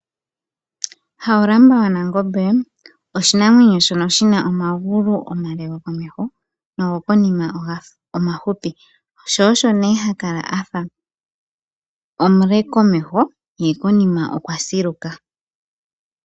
Hawulamba gwaNangombe oshinamwenyo shoka shina omagulu omale gokomeho nogo konima omafupi. Sho osho nee ha kala a fa omule komeho yekonima okwa siluka